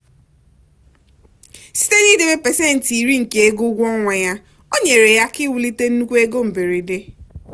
site n'idebe pasentị iri nke ego ụgwọ ọnwa ya o nyere ya aka iwulite nnukwu ego mberede.